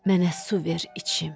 Mənə su ver içim.